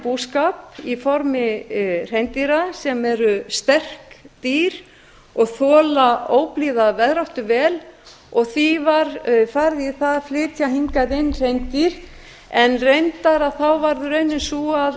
búskap í formi hreindýra sem eru sterk dýr og þola óblíða veðráttu vel og því var farið í það að flytja hingað inn hreindýr en reyndar varð raunin sú